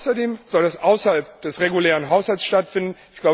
Außerdem soll es außerhalb des regulären Haushalts stattfinden.